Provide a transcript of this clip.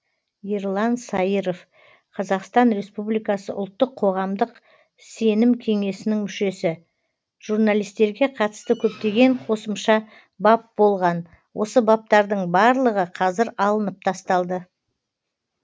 ерлан саиров қазақстан республикасы ұлттық қоғамдық сенім кеңесінің мүшесі журналистерге қатысты көптеген қосымша бап болған осы баптардың барлығы қазір алынып тасталды